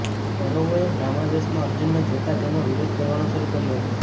કૌરવોએ બ્રાહ્મણ વેશમાં અર્જુનને જોતા તેનો વિરોધ કરવાનો શરૂ કર્યો હતો